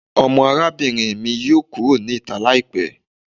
Ore arabinrin mi yoo kuro ni ita laipẹ